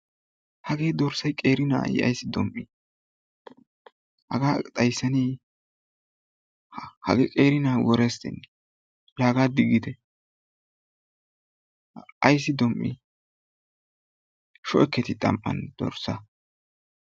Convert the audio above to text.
Hagee dorssay qeeri na'aa i aysi dum"ii hagaa xayssaneeye? ha hagee qeeri na'aa worestenee! la hagaa diiggite. Aysi dom"ii shoo'eketii xam"aan dorssaa.